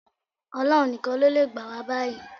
Ọlọ́run nìkan ló le gbà wá báyìí